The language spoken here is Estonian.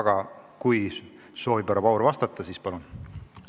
Aga kui härra Paur soovib vastata, siis palun!